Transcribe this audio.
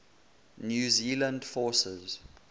new zealand forces